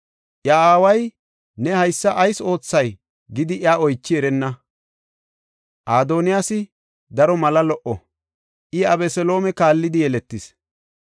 Iya aaway, “Ne haysa ayis oothay?” gidi iya oychi erenna. Adoniyaasi daro mala lo77o; I Abeseloome kaallidi yeletis.